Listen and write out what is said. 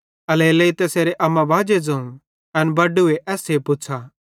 एल्हेरेलेइ तैसेरे अम्मा बाजे ज़ोवं एन बड्डूए एस्से पुछ़ा